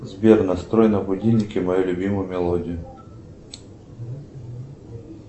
сбер настрой на будильнике мою любимую мелодию